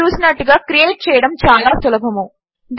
మీరు చూసినట్టుగా క్రియేట్ చేయడము చాలా సులభము